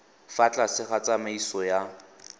fa tlase ga tsamaiso ya